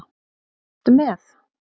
Ertu með?